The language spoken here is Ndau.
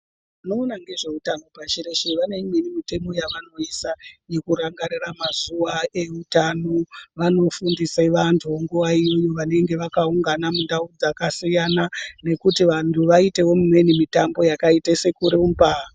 Vanoona ngezveutano pashi reshe vane imweni mitemo yavanoisa yekurangarira mazuwa eutano vanofundise vantu nguwa imyo anenge vakaungana mundau dzakasiyana nekuti vantu vaitewo mumweni mutambo yakaite sekurumba.